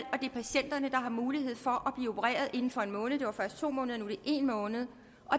at patienterne har mulighed for at blive opereret inden for en måned det var først to måneder nu det en måned